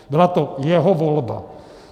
Byla to jeho volba.